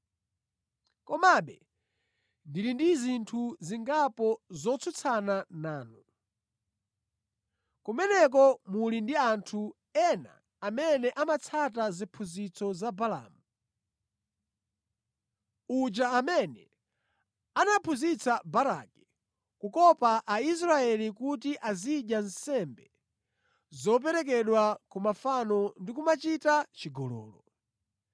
Komabe, ndili ndi zinthu zingapo zotsutsana nanu. Kumeneko muli ndi anthu ena amene amatsata ziphunzitso za Balaamu, uja amene anaphunzitsa Baraki kukopa Aisraeli kuti azidya nsembe zoperekedwa ku mafano ndi kumachita chigololo.